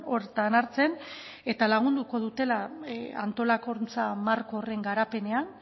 horretan hartzen eta lagunduko dutela antolakuntza marko horren garapenean